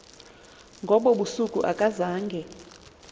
ngobo busuku akazange